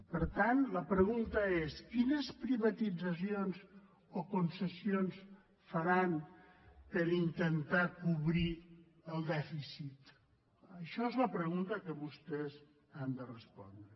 per tant la pregunta és quines privatitzacions o concessions faran per intentar cobrir el dèficit això és la pregunta que vostès han de respondre